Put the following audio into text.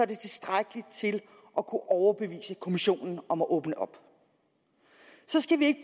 det tilstrækkeligt til at kunne overbevise kommissionen om at åbne op så skal vi ikke